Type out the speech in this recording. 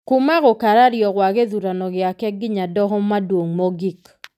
kuuma gũkarario gwa gĩthurano gĩake nginya Doho Maduong' Mogik.